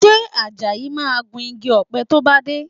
Ṣe Àjàyí máa gun igi ọ̀pẹ tó bá dé?